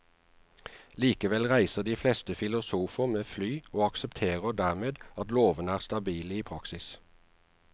Likevel reiser de fleste filosofer med fly og aksepterer dermed at lovene er stabile i praksis.